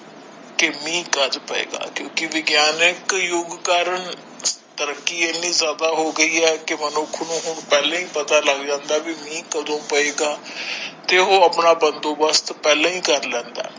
ਕੀ ਮੀਹਂ ਕਦ ਪਏਗਾ ਕਿਉਂਕਿ ਵਿਗਿਆਨਿਕ ਯੁੱਗ ਕਾਰਨ ਤਰੱਕੀ ਇਹਨੀ ਜ਼ਿਆਦਾ ਹੋ ਗਈ ਹੈ ਕੀ ਮਨੁੱਖ ਨੂੰ ਹੁਣ ਪਹਿਲਾ ਹੀ ਪਤਾ ਲੱਗ ਜਾਂਦਾ ਹੈ ਵੀ ਮੀਹ ਕਦੋਂ ਪਏਗਾ ਤੇ ਉਹ ਆਪਣਾ ਬੰਦੋਬਸਤ ਪਹਿਲਾ ਹੀ ਕਰ ਲੈਂਦਾ ਹੈ।